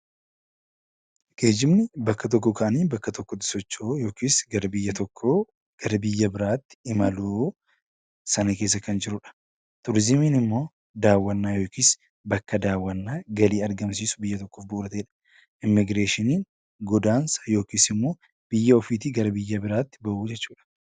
Geejjibni bakka tokkoo ka'anii bakka tokkotti socho'uu yookis gara biyya tokkoo gara biyya biraatti imaluu sana keessa kan jirudha. Turizimiin immoo daawwannaa yookis bakka daawwannaa galii argamsiisu biyya tokkoof bu'uura ta'edha. Immigireeshiniin godaansa yookis immoo biyya ofiitii gara biyya biraatti ba'uu jechuudha.